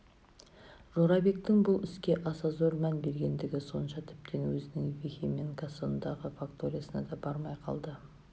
жорабектің бұл іске аса зор мән бергендігі сонша тіптен өзінің вихе мен кассангодағы факториясына да бармай қалды